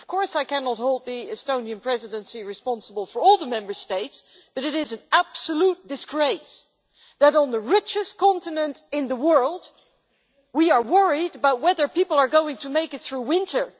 I cannot hold the Estonian Presidency responsible for all the Member States, but it is an absolute disgrace that on the richest continent in the world, we are worried about whether people are going to make it through winter.